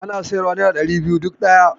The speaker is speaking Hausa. Ana siyarwa nera ɗari biyu duk ɗaya.